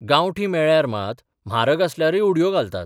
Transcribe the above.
गांवठी मेळ्ळ्यार मात म्हारग आसल्यारय उडयो घालतात.